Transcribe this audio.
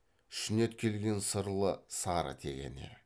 шүңет келген сырлы сары тегене